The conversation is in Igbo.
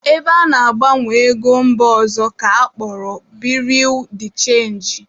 Ebe ana-agbanwe ego mba ọzọ ka akpọrọ Birui de chenji